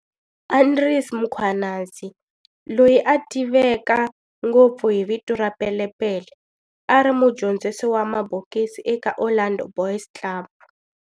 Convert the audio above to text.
Andries Mkhwanazi, loyi a tiveka ngopfu hi vito ra Pele Pele, a ri mudyondzisi wa mabokisi eka Orlando Boys Club.